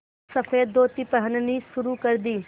सफ़ेद धोती पहननी शुरू कर दी